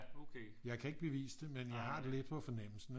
Jeg kan ikke bevise det men jeg har det lidt på fornemmelsen ikke